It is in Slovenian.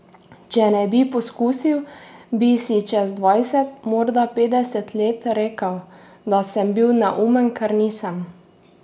Če ne bi poskusil, bi si čez dvajset, morda petdeset let rekel, da sem bil neumen, ker nisem.